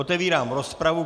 Otevírám rozpravu.